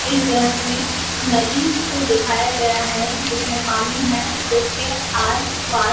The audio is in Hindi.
इस दृश्य में नदी को दिखाया गया है उसमें पानी है जिसके आसपास--